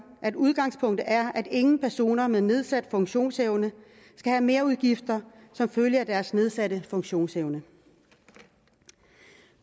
at udgangspunktet er at ingen personer med nedsat funktionsevne skal have merudgifter som følge af deres nedsatte funktionsevne